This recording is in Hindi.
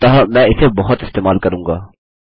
अतः मैं इसे बहुत इस्तेमाल करूँगा